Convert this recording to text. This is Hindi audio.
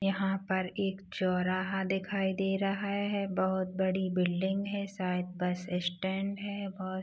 यहाँ पर एक चौराहा दिखाई दे रहा है। बोहत बड़ी बिल्डिंग है। साइड बस स्टैंड हैं। बोहत--